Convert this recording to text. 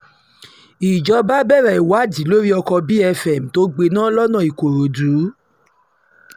ìjọba bẹ̀rẹ̀ ìwádìí lórí ọkọ bfm tó gbiná lọ́nà ìkòròdú